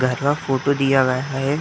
घर फोटो दिया गया है।